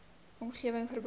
omgewing verband hou